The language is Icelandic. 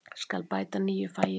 Skal bæta nýju fagi við?